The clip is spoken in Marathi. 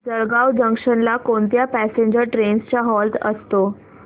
जळगाव जंक्शन ला कोणत्या पॅसेंजर ट्रेन्स चा हॉल्ट असतो